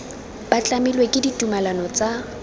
ba tlamilwe ke ditumalano tsa